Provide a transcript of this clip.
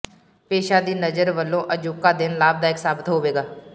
ਪੇਸ਼ਾ ਦੀ ਨਜ਼ਰ ਵਲੋਂ ਅਜੋਕਾ ਦਿਨ ਲਾਭਦਾਇਕ ਸਾਬਤ ਹੋਵੇਗਾ